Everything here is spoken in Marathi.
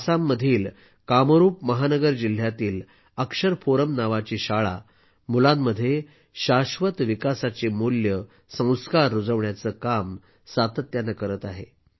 आसाममधील कामरूप महानगर जिल्ह्यातील अक्षर फोरम नावाची शाळा मुलांमध्ये शाश्वत विकासाची मूल्ये संस्कार रुजवण्याचे रुजविण्याचे काम सातत्याने करत आहे